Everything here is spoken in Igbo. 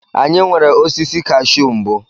Anyị nwere osisi kashu mbụ.